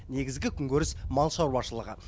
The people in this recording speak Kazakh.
негізгі күнкөріс мал шаруашылығы